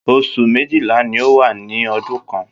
Oṣù méjìlá ní o wà ní ọdún kàn.